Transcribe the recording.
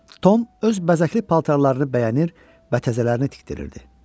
Tom öz bəzəkli paltarlarını bəyənir və təzələrini tikdirirdi.